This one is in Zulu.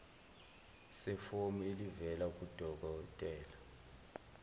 sefomu elivela kudokodela